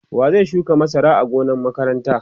wa zai shuka masara a gonan makaranta?